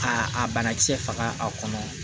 A a banakisɛ faga a kɔnɔ